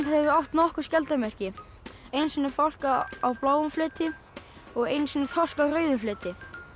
hefur átt nokkur skjaldarmerki einu sinni fálka á bláum fleti og einu sinni þorsk á rauðum fleti